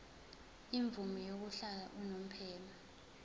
imvume yokuhlala unomphema